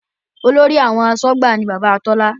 Olórí àwọn asọ́gbà ni Bàbá Tola